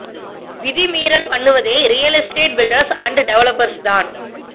விதி மீறல் பண்ணுவதே real estate builders and developers தான்